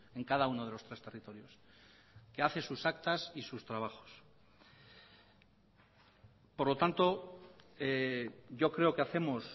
en cada uno de los tres territorios que hace sus actas y sus trabajos por lo tanto yo creo que hacemos